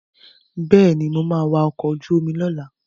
Bẹ́ẹ̀ni, mo ma wa ọkọ̀ ojú omi lọ́la